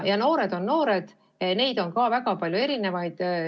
Noored on noored, neid on väga palju erinevaid.